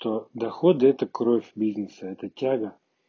доходы это кровь бизнеса это тяга